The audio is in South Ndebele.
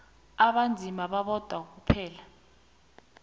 abanzima babodwa kwaphela